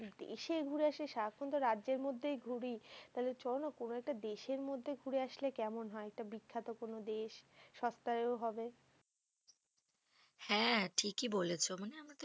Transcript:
দেশে ঘুরে আসি, সারাক্ষন তো রাজ্যের মধ্যেই ঘুরি। তাহলে চলো না কোনো একটা দেশের মধ্যে ঘুরে আসলে কেমন হয়? একটা বিখ্যাত কোনো দেশ, সস্তায়ও হবে। হ্যাঁ ঠিকই বলেছো। মানে